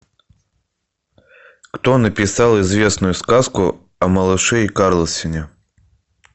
кто написал известную сказку о малыше и карлсоне